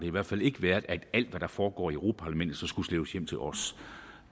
i hvert fald ikke været at alt hvad der foregår i europa parlamentet så skulle slæbes hjem til os